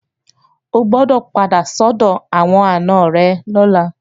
O gbọdọ̀ padà sọ́dọ̀ àwọn àna rẹ̀ lọ́la!